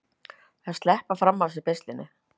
Að sleppa fram af sér beislinu